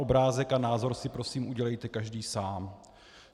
Obrázek a názor si prosím udělejte každý sám.